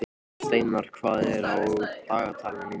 Steinar, hvað er á dagatalinu mínu í dag?